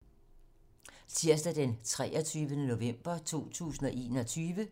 Tirsdag d. 23. november 2021